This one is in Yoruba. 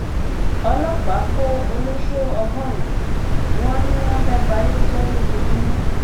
ọlọpàá kó ọlọsọ ọgọrùnún wọn ni wọn fẹẹ bayé jẹ lójúmọmọ